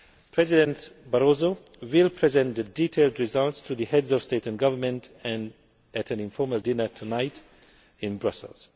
President Barroso will present the detailed results to the Heads of State or Government at an informal dinner tonight in Brussels.